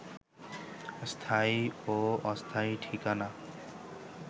স্থায়ী ও অস্থায়ী ঠিকানা